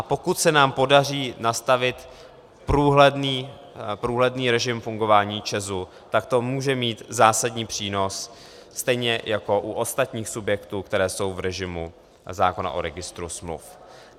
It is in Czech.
A pokud se nám podaří nastavit průhledný režim fungování ČEZu, tak to může mít zásadní přínos, stejně jako u ostatních subjektů, které jsou v režimu zákona o registru smluv.